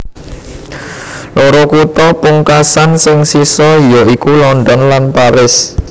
Loro kutha pungkasan sing sisa ya iku London lan Paris